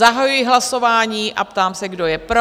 Zahajuji hlasování a ptám se, kdo je pro?